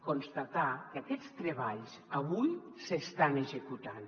constatar que aquests treballs avui s’estan executant